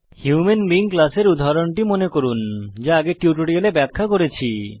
human being class এর উদাহরণটি মনে করুন যা আগের টিউটোরিয়ালে ব্যাখ্যা করেছি